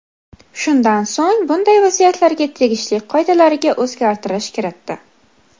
Shundan so‘ng, bunday vaziyatlarga tegishli qoidalariga o‘zgartirish kiritdi.